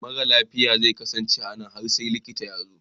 Mara lafiya zai kasance a nan har sai likita ya zo.